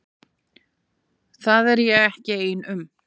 Það er ég ekki ein um.